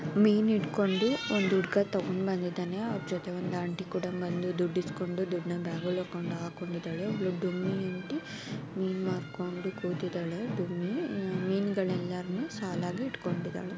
ಮೀನು ಹಿಡ್ಕೊಂಡು ಒಂದು ಹುಡುಗ ತಗೊಂಡು ಬಂದಿದ್ದಾನೆ ಅವನ್ ಜೊತೆ ಒಂದು ಆಂಟಿ ಕೂಡಾ ಬಂದು ದುಡ್ಡ್ ಇಸ್ಕೊಂಡು ದುಡ್ನ ಬ್ಯಾಗೊಳಗ್ ಹಾಕೊಂಡಿದ್ದಾರೆ ಒಬ್ಬಳು ಡುಮ್ಮಿ ಆಂಟಿ ಮೀನ್ ಮಾರ್ಕೊಂಡು ಕೂತಿದಾಳೆ ಡುಮ್ಮಿ ಮೀನ್ಗನೆಲ್ಲನೂ ಸಾಲಾಗಿ ಇಟ್ಕೊಂಡಿದ್ದಾಳೆ.